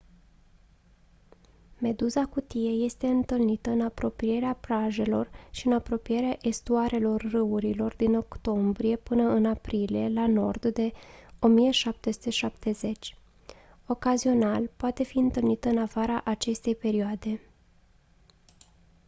meduza cutie este întâlnită în apropierea plajelor și în apropierea estuarelor râurilor din octombrie până în aprilie la nord de 1770 ocazional poate fi întâlnită în afara acestei perioade